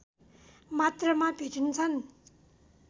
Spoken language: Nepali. मात्रमा भेटिन्छन्